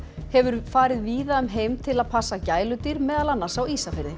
hefur farið víða um heim til að passa gæludýr meðal annars á Ísafirði